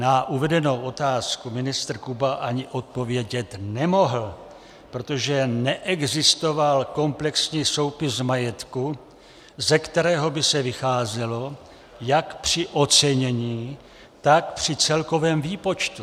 Na uvedenou otázku ministr Kuba ani odpovědět nemohl, protože neexistoval komplexní soupis majetku, ze kterého by se vycházelo jak při ocenění, tak při celkovém výpočtu.